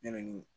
Ne bɛ nin